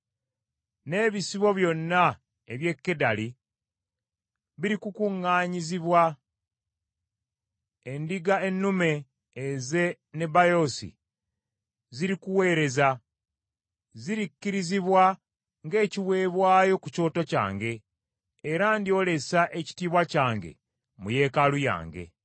N’ebisibo byonna eby’e Kedali birikukuŋŋanyizibwa, endiga ennume ez’e Nebayoosi zirikuweereza. Zirikkirizibwa ng’ekiweebwayo ku kyoto kyange era ndyolesa ekitiibwa kyange mu yeekaalu yange.